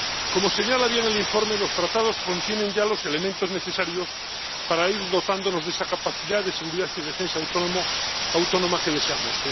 Como señala bien el informe, los Tratados contienen ya los elementos necesarios para ir dotándonos de esa capacidad de seguridad y defensa autónoma que deseamos